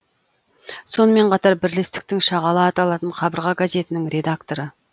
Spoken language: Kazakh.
сонымен қатар бірлестіктің шағала аталатын қабырға газетінің редакторы